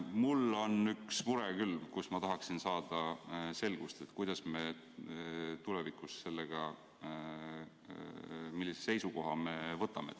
Mul on üks mure, mille puhul ma tahaksin saada selgust, millise seisukoha me tulevikus võtame.